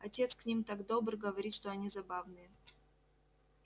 отец к ним так добр говорит что они забавные